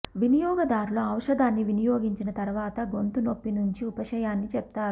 వినియోగదారులు ఔషధాన్ని వినియోగించిన తరువాత గొంతు నొప్పి నుంచి ఉపశమనాన్ని చెప్తారు